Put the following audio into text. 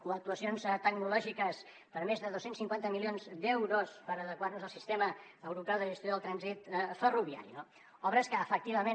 o actuacions tecnològiques per més de dos cents i cinquanta milions d’euros per adequar nos al sistema europeu de gestió del trànsit ferroviari no obres que efectivament